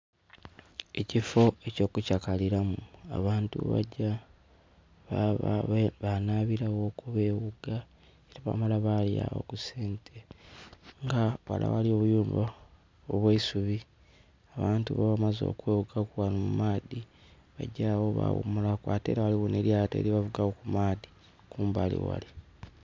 Ekifo eky'okukyakalilamu abantu ghebagya, banabilaghoku beghuga, ate bamala balyagho kusente, nga ghale aghali obuyumba obw'eisubi. Abantu bwebaba bamaze okweghugaku ghano mumaadhi bagya agho baghumulaku. Ate ela ghaligho nh'elyaato lyebavugaku ku maadhi kumbali ghale.